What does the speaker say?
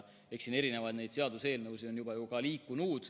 Eks siin erinevaid seaduseelnõusid ole juba ka liikunud.